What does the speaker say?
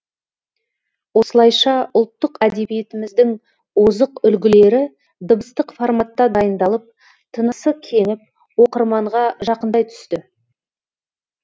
осылайша ұлттық әдебиетіміздің озық үлгілері дыбыстық форматта дайындалып тынысы кеңіп оқырманға жақындай түсті